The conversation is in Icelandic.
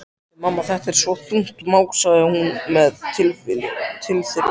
Bíddu, mamma, þetta er svo þungt, másaði hún með tilþrifum.